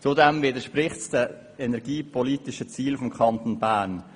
Zudem widerspricht das Vorgehen den energiepolitischen Zielen des Kantons Bern.